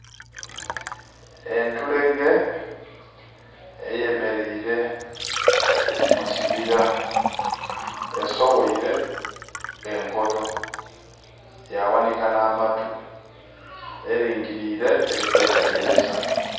Entulege eyemereire mu kibira, esogheire enkoto ya ghanika nha matu. Eringirire eri kwetegereza.